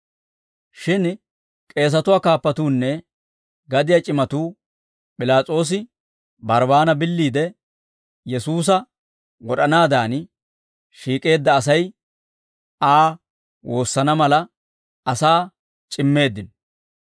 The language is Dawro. Shin k'eesatuwaa kaappatuunne gadiyaa c'imatuu P'ilaas'oosi Barbbaana billiide, Yesuusa wod'anaadan, shiik'eedda Asay Aa woosana mala, asaa c'immeeddino.